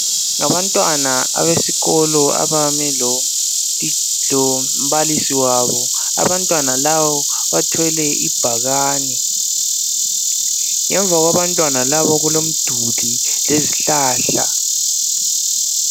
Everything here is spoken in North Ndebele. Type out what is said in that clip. Ngabantwana abesikolo abame lombalisi wabo , abantwana labo bathwele ibhakani ngemva kwabantwana labo kulomduli lezihlahla.